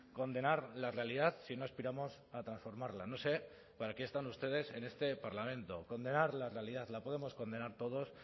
condenar la realidad si no aspiramos a transformarla no sé para qué están ustedes en este parlamento condenar la realidad la podemos condenar todos